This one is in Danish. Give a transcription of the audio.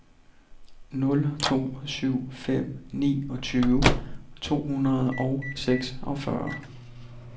nul to syv fem niogtyve to hundrede og seksogfyrre